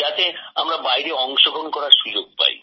যাতে আমরা বাইরে অংশগ্রহণ করার সুযোগ পাই